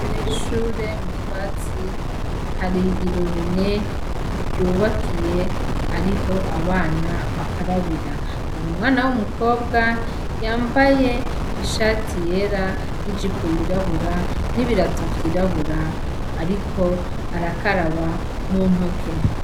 Imbere y'ishure mu twatsi hari irobine ryubakiye ariho abana bakarabira, hari umwana w'umukobwa yambaye ishati yera n'ijipo yirabura n'ibirato vyirabura ariko arakaraba muntoke.